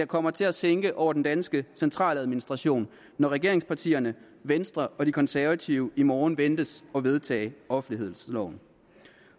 kommer til at sænke over den danske centraladministration når regeringspartierne venstre og de konservative i morgen ventes at vedtage offentlighedsloven